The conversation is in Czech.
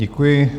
Děkuji.